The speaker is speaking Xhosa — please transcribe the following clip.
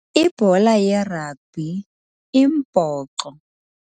Ibhola yeragbhi imbhoxo.